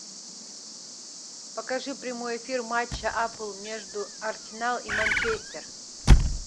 покажи прямой эфир матча апл между арсенал и манчестер